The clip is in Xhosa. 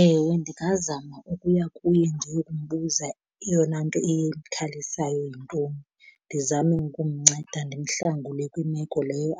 Ewe, ndingazama ukuya kuye ndiyokumbuza iyona nto imkhalisayo yintoni, ndizame ukumnceda ndimhlangule kwimeko leyo